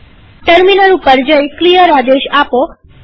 terminal પર જઈ clear આદેશ આપો